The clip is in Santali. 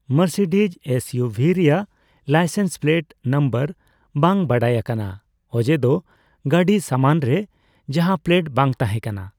ᱢᱟᱨᱥᱤᱰᱤᱡᱽ ᱮᱹᱥᱹ ᱤᱭᱩᱹ ᱵᱷᱤ ᱨᱮᱭᱟᱜ ᱞᱟᱭᱥᱮᱱᱥ ᱯᱞᱮᱹᱴ ᱱᱟᱢᱵᱟᱨ ᱵᱟᱝ ᱵᱟᱰᱟᱭ ᱟᱠᱟᱱᱟ, ᱚᱡᱮ ᱫᱚ ᱜᱟᱺᱰᱤ ᱥᱟᱢᱟᱱ ᱨᱮ ᱡᱟᱦᱟᱸ ᱯᱞᱮᱹᱴ ᱵᱟᱝ ᱛᱟᱦᱮᱸ ᱠᱟᱱᱟ ᱾